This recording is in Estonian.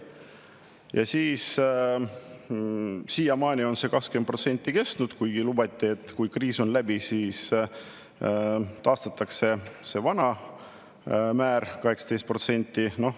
Ja siiamaani on see 20%, kuigi lubati, et kui kriis on läbi, siis taastatakse vana määr 18%.